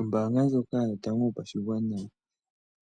Ombaanga ndjoka yotango yopashigwana